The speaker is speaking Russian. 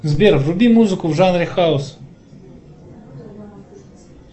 сбер вруби музыку в жанре хаус